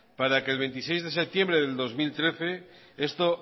para que el veintiséis de septiembres de dos mil trece esto